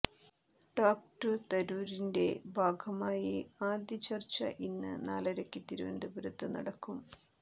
talk to തരൂരിന്റെ ഭാഗമായി ആദ്യ ചർച്ച ഇന്ന് നാലരയ്ക്ക് തിരുവനന്തപുരത്ത് നടക്കും